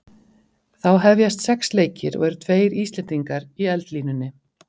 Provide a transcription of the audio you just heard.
Þá hefjast sex leikir og eru tveir Íslendingar í eldlínunni.